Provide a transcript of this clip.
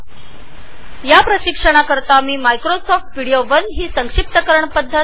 हे प्रशिक्षण रेकॉर्ड करण्यासाठी मी मायक्रोसॉफ्ट व्हिडीओ १ हा कॉम्प्रेसर वापरला आहे